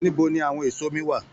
Níbo ní àwọn èso mi wá?